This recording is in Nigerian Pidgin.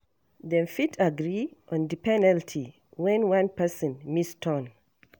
Dem fit agree on di penalty when one person miss turn